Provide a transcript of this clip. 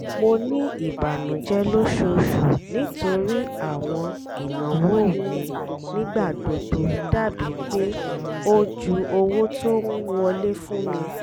mo ní ìbànújẹ lóṣooṣù nítorí àwọn ìnáwó mi nígbàgbogbo dàbí pé ó ju owó tó ń wọlé fún mi